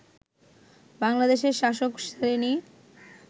বাংলাদেশের শাসক শ্রেণি